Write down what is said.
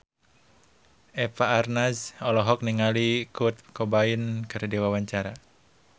Eva Arnaz olohok ningali Kurt Cobain keur diwawancara